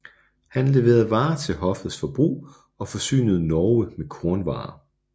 Han leverede varer til hoffets forbrug og forsynede Norge med kornvarer